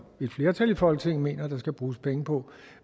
et flertal i folketinget mener der skal bruges penge på